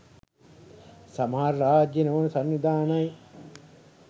සමහර රාජ්‍ය නොවන සංවිධානයි